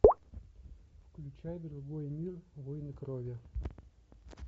включай другой мир войны крови